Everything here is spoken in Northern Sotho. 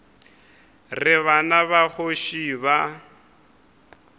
re bana ba kgoši ba